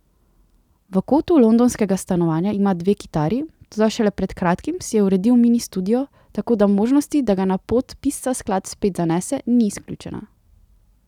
V kotu londonskega stanovanja ima dve kitari, toda šele pred kratkim si je uredil mini studio, tako da možnosti, da ga na pot pisca skladb spet zanese, ni izključena.